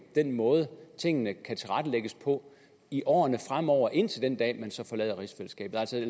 den måde tingene kan tilrettelægges på i årene fremover indtil den dag man så forlader rigsfællesskabet